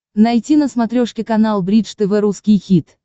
найти на смотрешке канал бридж тв русский хит